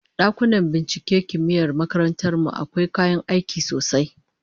Dakunan binciken kimiyyar makarantar mu akwai kayan aiki sosai